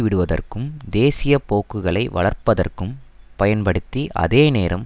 விடுவதற்கும் தேசிய போக்குகளை வளர்ப்பதற்கும் பயன்படுத்தி அதேநேரம்